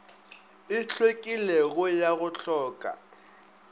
e hlwekilego ya go hloka